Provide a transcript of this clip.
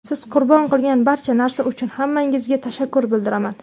Siz qurbon qilgan barcha narsa uchun hammangizga tashakkur bildiraman.